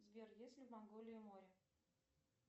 сбер есть ли в манголии море